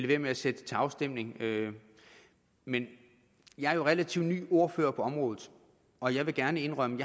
være med at sætte det til afstemning men jeg er jo relativt ny ordfører på området og jeg vil gerne indrømme